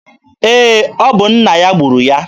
Ee, ọ bụ nna ya gburu ya.